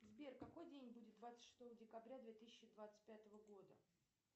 сбер какой день будет двадцать шестого декабря две тысячи двадцать пятого года